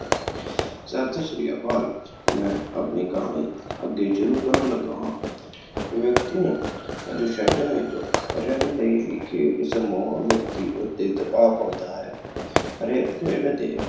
ਸਤਿ ਸ਼੍ਰੀ ਅਕਾਲ ਮੈਂ ਆਪਣੀ ਕਹਾਣੀ ਅੱਗੇ ਸ਼ੁਰੂ ਕਰਨ ਲੱਗਾ ਹਾਂ, ਵਿਅਕਤੀ ਨੂੰ ਅਨੁਸਾਸ਼ਨ ਵਿੱਚ ਰਹਿਣ ਲਈ ਵੀ ਖੇਡ ਸਮੂਹ ਵਿਅਕਤੀ ਉੱਤੇ ਦਬਾਅ ਪਾਉਂਦਾ ਹੈ। ਹਰੇਕ ਖੇਡ ਦੇ